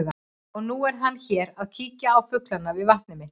Og nú er hann hér að kíkja á fuglana við vatnið mitt.